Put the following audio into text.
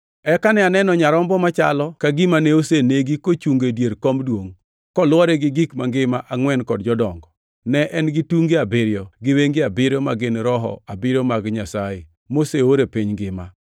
Eka ne aneno Nyarombo machalo ka gima ne osenegi kochungo e dier kom duongʼ, kolwore gi gik mangima angʼwen kod jodongo. Ne en gi tunge abiriyo gi wenge abiriyo ma gin Roho abiriyo mag Nyasaye moseor e piny mangima.